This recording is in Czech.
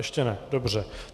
Ještě ne, dobře.